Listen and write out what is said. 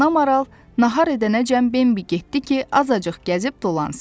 Ana Maral nahar edənəcən Bimbi getdi ki, azacıq gəzib dolansın.